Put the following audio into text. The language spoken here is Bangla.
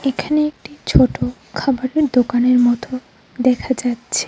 এখানে একটি ছোট খাবারের দোকানের মত দেখা যাচ্ছে।